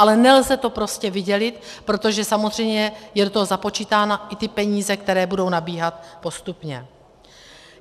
Ale nelze to prostě vydělit, protože samozřejmě jsou do toho započítány i ty peníze, které budou nabíhat postupně.